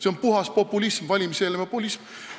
See on puhas populism, valimiseelne populism!